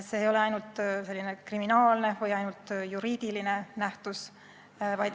See ei ole ainult kriminaalne või juriidiline nähtus.